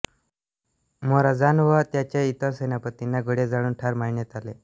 Morazan व त्याच्या इतर सेनापतींना गोळ्या झाडून ठार मारण्यात आले